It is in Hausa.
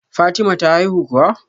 Fatima ta haihu kuwa?